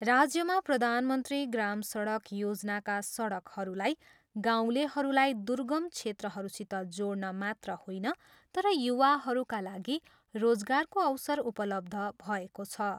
राज्यमा प्रधानमन्त्री ग्राम सडक योजनाका सडकहरूद्वारा गाउँलेहरूलाई दुर्गम क्षेत्रहरूसित जोड्न मात्र होइन तर युवाहरूका लागि रोजगारको अवसर उपलब्ध भएको छ।